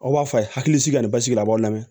Aw b'a fɔ a ye hakilisigi ka nin basigi a b'aw lamɛn